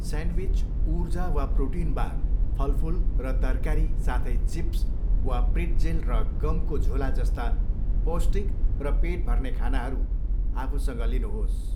Sandwich, ऊर्जा वा protein bar, फलफुल र तरकारी, साथै चिप्स वा प्रिट्जेल र गमको झोला जस्ता पौष्टिक र पेट भर्ने खानाहरू आफूसँग लिनुहोस्।